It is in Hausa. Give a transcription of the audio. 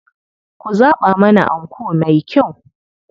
Ku zaɓa mana anko mai kyau.